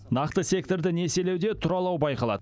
нақты секторды несиелеуде тұралау байқалады